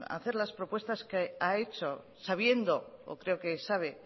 hacer las propuestas que ha hecho sabiendo o creo que sabe